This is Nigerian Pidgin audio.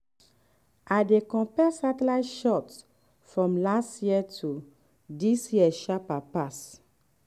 i dey compare satellite shots from last year to this year sharper pass